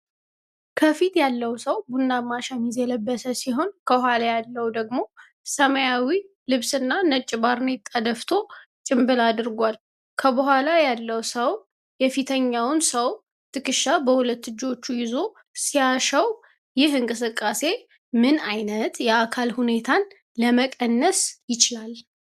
ከፊት ያለው ሰው ቡናማ ሸሚዝ የለበሰ ሲሆን፣ ከኋላ ያለው ደግሞ ሰማያዊ ልብስና ነጭ ባርኔጣ ደፍቶ ጭምብል አድርጓል። ከኋላ ያለው ሰው የፊተኛውን ሰው ትከሻ በሁለት እጆቹ ይዞ ሲያሻው፣ ይህ እንቅስቃሴ ምን ዓይነት የአካል ሁኔታን ለመቀነስ ይችላል?